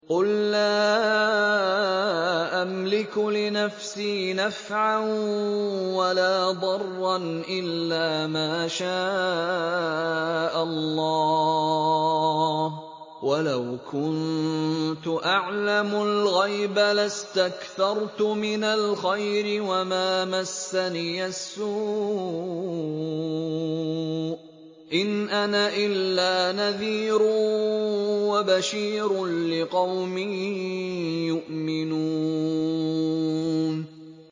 قُل لَّا أَمْلِكُ لِنَفْسِي نَفْعًا وَلَا ضَرًّا إِلَّا مَا شَاءَ اللَّهُ ۚ وَلَوْ كُنتُ أَعْلَمُ الْغَيْبَ لَاسْتَكْثَرْتُ مِنَ الْخَيْرِ وَمَا مَسَّنِيَ السُّوءُ ۚ إِنْ أَنَا إِلَّا نَذِيرٌ وَبَشِيرٌ لِّقَوْمٍ يُؤْمِنُونَ